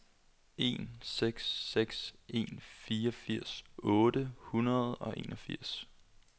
en seks seks en fireogfirs otte hundrede og enogfirs